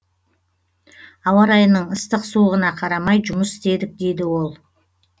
ауа райының ыстық суығына қарамай жұмыс істедік дейді ол